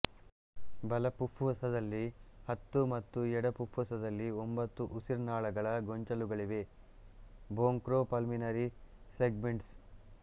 ಬಲ ಪುಪ್ಫುಸದಲ್ಲಿ ಹತ್ತು ಮತ್ತು ಎಡ ಪುಪ್ಫುಸದಲ್ಲಿ ಒಂಬತ್ತು ಉಸಿರ್ನಾಳಗಳ ಗೊಂಚಲುಗಳಿವೆ ಬ್ರೋಂಖೋ ಪಲ್ಮನರಿ ಸೆಗ್ಮೆಂಟ್ಸ್